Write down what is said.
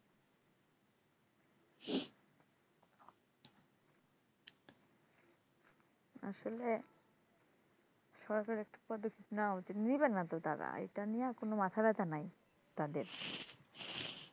আসলে সরাসরি একটা পদ্ধতি নেওয়া উচিত নিবে না তো তারা এটা নিয়ে আর কোন মাথা ব্যাথা নাই তাদের